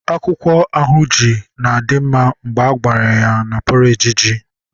akwukwo ahunji di nma mgbe agwara ya na porridge ji